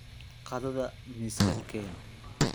Qaadada miiska keen.